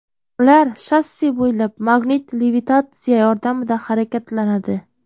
Ular shosse bo‘ylab magnit levitatsiya yordamida harakatlanadi.